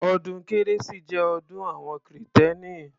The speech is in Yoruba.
Ọdún kérésì jẹ́ ọdún àwọn kìrìtẹ́nì.